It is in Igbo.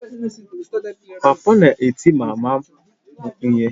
Papa na-eti mama m ihe